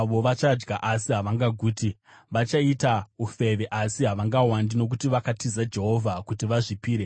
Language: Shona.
“Vachadya asi havangaguti; vachaita ufeve asi havangawandi, nokuti vakatiza Jehovha kuti vazvipire